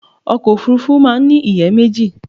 Ọkọ̀ Òfurufú máa ń ní ìyẹ́ méjì.